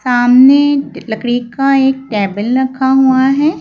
सामने लकड़ी का एक टेबल रखा हुआ है।